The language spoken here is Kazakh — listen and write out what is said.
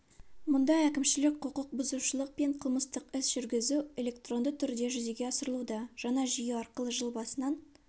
мұнда әкімшілік құқықбұзушылық пен қылмыстық іс жүргізу электронды түрде жүзеге асырылуда жаңа жүйе арқылы жыл басынан